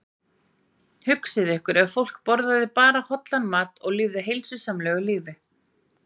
Hugsið ykkur ef fólk borðaði bara hollan mat og lifði heilsusamlegu lífi.